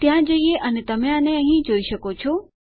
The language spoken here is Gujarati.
ત્યાં જઈએ અને તમે આને અહીં જોઈ શકો છો